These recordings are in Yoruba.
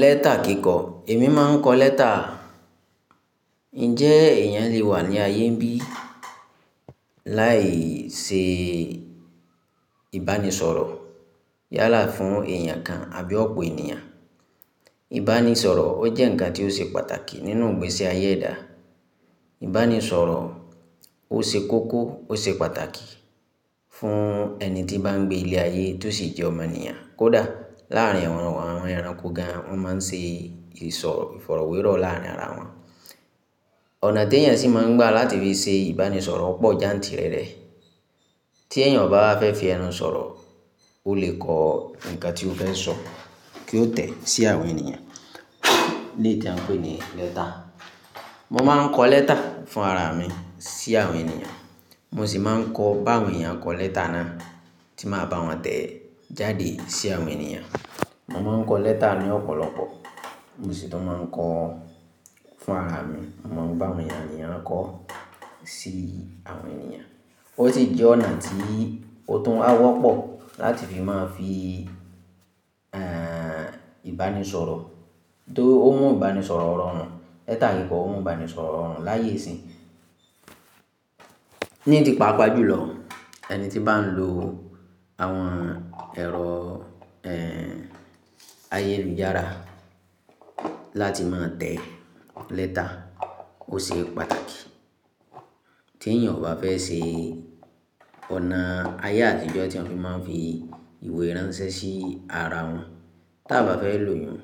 Lẹ́tà kíkọ. Èmi má a ń kọ lẹ́tà. Ǹjẹ́ èèyàn lè wà ní ayé bí láì ṣe ìbánisọ̀rọ̀ yálà fún èèyàn kan àbí ó pe ènìyàn? Ìbánisọ̀rọ̀ ó jẹ́ ǹkan tí ó ṣe pàtàkì nínú ìgbésí ayé ẹ̀dá. Ìbánisọ̀rọ̀ ó ṣe kókó, ó ṣe pàtàkì fún ẹni tí n bá ń gbé ilé ayé tó sì jẹ́ ọmọ ènìyàn. Kódà láàárín àwọn ẹranko gan, wọ́n má a ń se ìsọ̀rọ̀ ìfọ̀rọ̀wérọ̀ láàrin ara wọn. Ọ̀nà tí èèyàn sì máa ń gbà láti fi ṣe ìbánisọ̀rọ̀ pọ̀ jantìrẹrẹ. Tí èèyàn kò bá fẹ́ fi ẹnu sọ̀rọ̀, ó lè kọ ǹkan tí ó fẹ́ sọ kí ó tẹ̀ sí àwọn ènìyàn, ní èyí tí a ń pè ní lẹ́tà. Mo má a ń kọ lẹ́tà fún ara mi sí àwọn ènìyàn. Mo sì máa ń kọ bá àwọn èèyàn kọ lẹ́tà náà tí màá bá wọn tẹ̀ jáde sí àwọn ènìyàn. Mo má a ń kọ lẹ́tà ní ọ̀pọ̀lọpọ̀, mo sì tún máa ń kọ fún ara mi. Mo ń bá àwọn ènìyàn kọ sí àwọn ènìyàn. Ó sì jẹ́ ọ̀nà tí ó tún á wọ́pọ̀ láti fi má a fi, ẹ́, ìbánisọ̀rọ̀ tó mú ìbánisọ̀rọ̀ rọrùn. Lẹ́tà kíkọ mú ìbánisọ̀rọ̀ rọrùn láyé sín. Ní ti pàápàá jùlọ, ẹni tí bá ń lo àwọn ẹ̀rọ, ẹ́, ayélujára láti má a tẹ̀ lẹ́tà ó ṣe pàtàkì. Tí èèyàn kò bá fẹ́ ṣe ọ̀nà ayé àtijọ́ tí wọ́n fi má a ń fi ìwé ránṣẹ́ sí ara wọn, tí a bá fẹ́ lò yiún,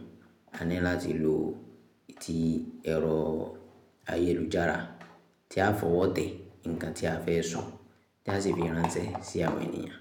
a ní láti lo ti ẹ̀rọ ayélujára tí á fọwọ́ tẹ̀ ǹkan tí a fẹ́ sọ tí a sì fi ránṣẹ́ sí àwọn ènìyàn.